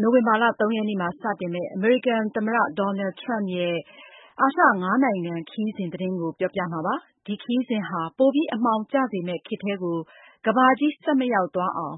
နိုဝင်ဘာလ ၃ရက်နေ့မှာစတင်မှာဖြစ်ပါတယ်။ ဒီခရီးစဉ်ဟာ ပိုပြီး အမှောင်ကျစေမယ့်ခေတ်ထဲကို ကမ္ဘာကြီးဆက်မရောက်သွားအောင်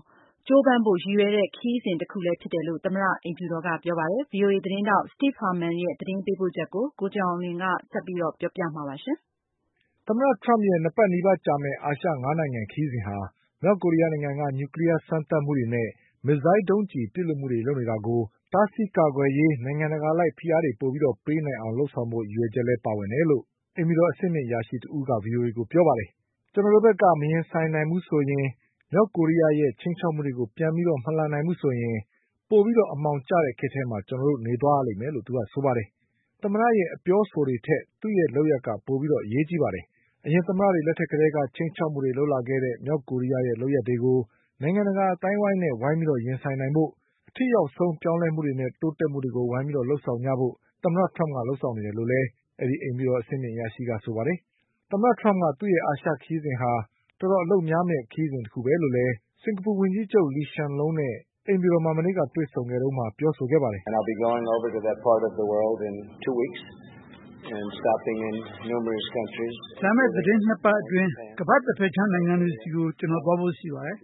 ကြိုးပမ်းဖို့ရည်ရွယ်တဲ့ခရီးစဉ်တခုလည်းဖြစ် တယ်လို့ သမ္မတအိမ်ဖြူတော်ကပြောပါတယ်။ ဒီအကြောင်း ဗွီအိုအေသတင်းထောက် Steve Herman ရဲ့သတင်းပေးပို့ ချက်ကို ကိုကျော်အောင်လွင်က ဆက်ပြီးပြောပြပါလိမ့်မယ်။ သမ္မတထရမ့်ရဲ့၂ပတ်နီးပါးကြာမယ့် အာရှ၅နိုင်ငံခရီးစဉ်ဟာ မြောက်ကိုရီးယားနိုင်ငံက နျူကလီးယားစမ်းသပ်မှုတွေနဲ့ မစ်ဇိုင်းဒုံးကျည်ပစ်လွှတ်မှုတွေလုပ်နေတာကို တားဆီးကာကွယ်ရေး နိုင်ငံတကာအလိုက်ဖိအားတွေပိုပြီးပေးနိုင်အောင် လုပ်ဆောင်ဖို့ရည်ရွယ်ချက်လည်းပါဝင်တယ်လို့ အိမ်ဖြူတော်အဆင့်မြင့်အရာရှိတဦးကပြောပါတယ်။ "ကျနော်တို့ ဘက်က မရင်ဆိုင်နိုင်ဘူးဆိုရင်၊ မြောက်ကိုရီးယားရဲ့ချိန်းခြောက်မှုတွေကို ပြန်ပြီး မလှန်နိုင်ဘူးဆိုရင် ပိုပြီးအမှောင်ကျ တဲ့ခေတ်ထဲမှာကျနော်တို့နေသွားရလိမ့်မယ်"လို့ဆိုပါတယ်။ သမ္မတရဲ့အပြောအဆိုတွေထက် သူ့ရဲ့လုပ်ရပ်တွေက ပိုပြီး အရေးကြီးပါတယ်။ အရင်သမ္မတတွေလက်ထက်ကတည်းက ချိန်းခြောက်မှုတွေလုပ်လာခဲ့တဲ့ မြောက်ကိုရီးယားရဲ့လုပ်ရပ် တွေကို နိုင်ငံတကာအသိုင်းအဝိုင်းနဲ့ ဝိုင်းပြီးရင်ဆိုင်နိုင်ဖို့ အထိရောက်ဆုံးပြောင်းလဲမှုနဲ့တိုးတက်မှုတွေကို ဝိုင်းပြီးလုပ် ဆောင်ကြဖို့သမ္မတထရမ့်က လုပ်ဆောင်နေတယ်လို့လည်း အိမ်ဖြူတော်အဆင့်မြင့်အရာရှိကပြောပါတယ်။ သမ္မတ ထရမ့်က သူ့ရဲ့ အာရှခရီးစဉ်က တော်တော်အလုပ်များမယ့်ခရီးစဉ်တခုပဲလို့ စင်္ကာပူဝန်ကြီးချုပ် လီရှန်လုံးနဲ့အိမ်ဖြူ တော်မှာမနေ့ကတွေ့ဆုံခဲ့တုန်းက ပြောခဲ့ပါတယ်။ "လာမယ့်သတင်း၂ပတ်အတွင်း ကမ္ဘာ့တဘက်ခြမ်းနိုင်ငံတွေဆီ ကိုကျနော်သွားဖို့ရှိပါတယ်။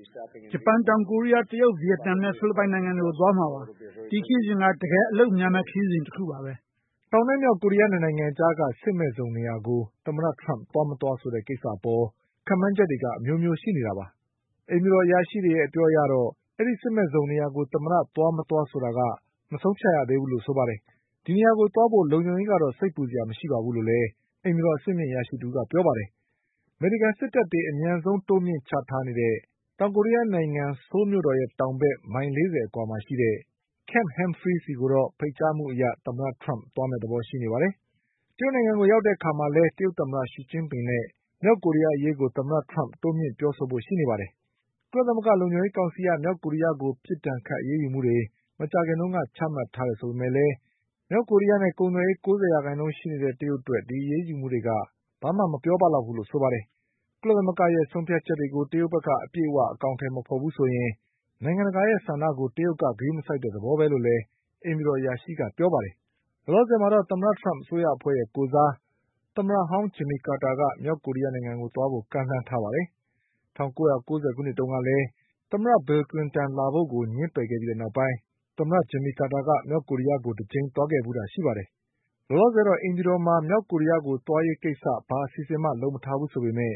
ဂျပန်၊ တောင်ကိုရီးယား၊ တရုတ်၊ဗီယက်နမ်နဲ့ဖိလစ်ပိုင်နိုင်ငံတွေကိုသွားမှာပါ။ ဒီခရီးစဉ်က တကယ်အလုပ်များမယ့်ခရီးစဉ်တခုပါပဲ။" တောင်နဲ့မြောက်ကိုရီးယား၂နိုင်ငံအကြားက စစ်မဲ့ဇုံနေရာကို သမ္မတထရမ့်သွား ၊ မသွားဆိုတဲ့ ကိစ္စအပေါ် ခပ်မှန်းချက် တွေက အမျိုးမျိုးရှိနေတာပါ။ အိမ်ဖြူတော်အရာရှိတွေရဲ့အပြောအရတော့ အဲဒီစစ်မဲ့ဇုံနေရာကို သမ္မတသွား မသွားဆို တာ မဆုံးဖြတ်ရသေးဘူးလို့ဆိုပါတယ်။ ဒီနေရာကိုသွားဖို့ လုံခြုံရေးကတော့ စိတ်ပူစရာမရှိပါဘူးလို့လည်း အိမ်ဖြူတော် အဆင့်မြင့်အရာရှိ တဦးကပြောပါတယ်။ အမေရိကန်စစ်တပ်တွေအမြန်ဆုံးတိုးမြင့်ချထားနေတဲ့တောင်ကိုရီးယားနိုင်ငံက Camp Humphries ဆီကိုတော့ ဖိတ်ကြားမှုအရသမ္မတထရမ့်သွားမယ့်သဘောရှိပါတယ်။ တရုတ်နိုင်ငံကိုရောက်တဲ့အခါ မှာလည်း တရုတ်သမ္မတရှီကျင်းပင်နဲ့မြောက်ကိုရီးယားအရေးကို တိုးမြင့်ပြောဆိုဖို့ရှိပါတယ်။ ကုလသမဂ္ဂလုံခြုံရေးကောင်စီက မြောက်ကိုရီးယားကို ပစ်ဒဏ်ခတ်အရေးယူမှုတွေ မကြာခင်တုန်းကချမှတ်ထားတယ် ဆိုပေမဲ့လည်း မြောက်ကိုရီးယားနဲ့ကုန်သွယ်ရေး၉၀ရာခိုင်နှုန်းရှိနေတဲ့ တရုတ်အတွက် ဒီအရေးယူမှုတွေက ဘာမှမပြောပ လောက်ဘူးလို့ဆိုပါတယ်။ ကုလသမဂ္ဂရဲ့ဆုံးဖြတ်ချက်တွေကို တရုတ်ဘက်က အပြည့်အဝအကောင်အထည်မဖေါ်ဘူး ဆိုရင် နိုင်ငံတကာရဲ့ဆန္ဒကို တရုတ်က ဂရုမစိုက်တဲ့သဘောပဲလို့လည်းအိမ်ဖြူတော်အရာရှိကပြောပါတယ်။ လောလောဆယ်တော့ သမ္မတထရမ့်အစိုးရအဖွဲ့ရဲ့ကိုယ်စား သမ္မတဟောင်း ဂျင်မီကာတာက မြောက်ကိုရီးယားကို သွားဖို့ ကမ်းလှမ်းထားပါတယ်။ ၁၉၉၀ခုနှစ်တုန်းကလည်း သမ္မတဘီလ်ကလင်တန်ကိုလာဖို့ငြင်းပယ်ခဲ့ပြီးနောက်ပိုင်း သမ္မတဂျင်မီကာတာက မြောက်ကိုရီးယားကို တကြိမ်သွားခဲ့ဖူးတာရှိပါတယ်။ လောလောဆယ်တော့ အိမ်ဖြူတော်မှာ မြောက်ကိုရီးယားကို သွားရေးကိစ္စဘာအစီအစဉ်မှ လုပ်မထားဘူးဆိုပေမဲ့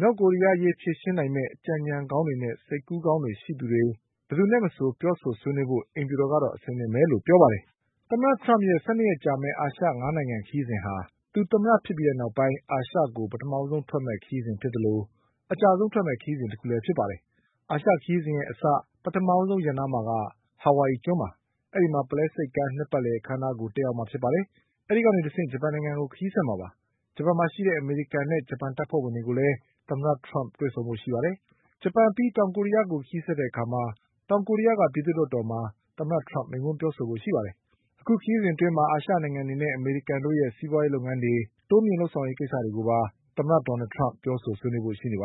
မြောက်ကိုရီးယားအရေးဖြေရှင်းနိုင်မယ့် အကြံ အညံကောင်းတွေနဲ့စိတ်ကူးကောင်းတွေရှိသူတွေဘယ်သူနဲ့မဆိုပြောဆိုဆွေးနွေးဖို့အိမ်ဖြူတော်က အဆင်သင့်ပဲလို့ဆို ပါတယ်။ သမ္မတထရမ့်ရဲ့ ၁၂ရက်ကြာမယ့် အာရှ၅နိုင်ငံခရီးစဉ်ဟာ သူသမ္မတဖြစ်ပြီးနောက်ပိုင်း အာရှကိုပထမဆုံးထွက်ခွါမယ့် ခရီးစဉ်ဖြစ်သလို အကြာဆုံးထွက်မယ့်ခရီးစဉ်တခုလည်းဖြစ်ပါတယ်။ အာရှခရီးစဉ်အစ ပထမဆုံးရပ်နားမှာက ဟာဝိုင်အီ ကျွန်းပါ။ အဲဒီမှာ ပုလဲဆိပ်ကမ်းနှစ်ပတ်လည်အခန်းအနားကို တက်ရောက်မှာဖြစ်ပါတယ်။ အဲဒီကနေတဆင့် ဂျပန်နိုင်ငံကို ခရီးဆက်မှာပါ။ ဂျပန်မှာရှိတဲ့အမေရိကန်နဲ့ ဂျပန်တပ်ဖွဲ့တွေကိုလည်း သမ္မတထရမ့်တွေ့ဆုံဖို့ရှိပါတယ်။ ဂျပန်အပြီး တောင်ကိုရီးယားကိုခရီးဆက်တဲ့အခါ တောင်ကိုရီးယားပြည်သူ့လွှတ်တော်မှာ သမ္မတထရမ့်မိန့်ခွန်းပြောဆိုဖို့ရှိပါတယ်။ သမ္မတရဲ့အာရှခရီးစဉ်အတွင်း အာရှနိုင်ငံတွေနဲ့အမေရိကန်တို့ စီးပွါးရေးလုပ်ငန်းတွေတိုးမြင့်လုပ်ဆောင်ရေးကိစ္စတွေ ကိုပါ သမ္မတထရမ့်ပြောဆိုဆွေးနွေးသွားဖို့ရှိနေပါ